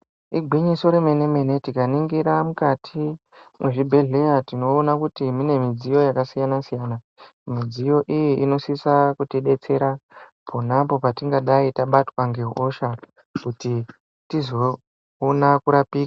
Igwinyiso remene-mene tikaningira mukati mezvibhedhleya tinoona kuti mune midziyo yakasiyana-siyana, midziyo iyi inosisa kutidetsera ponapo petingadai tabatwa ngehosha kuti tizoona kurapika.